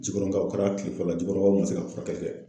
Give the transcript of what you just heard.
Jikɔrɔninkaw ,o kɛla a kile fɔlɔ. Jikɔrɔninw ma se ka furakɛli kɛ.